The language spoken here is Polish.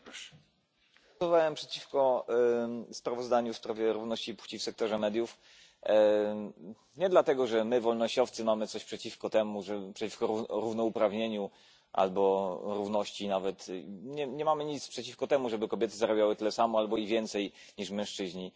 Panie Przewodniczący! Głosowałem przeciwko sprawozdaniu w sprawie równości płci w sektorze mediów nie dlatego, że my wolnościowcy mamy coś przeciwko temu, przeciwko równouprawnieniu albo równości nawet. Nie mamy nic przeciwko temu, żeby kobiety zarabiały tyle samo albo i więcej niż mężczyźni.